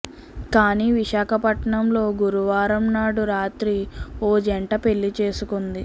కానీ విశాఖపట్టణంలో గురువారం నాడు రాత్రి ఓ జంట పెళ్లి చేసుకొంది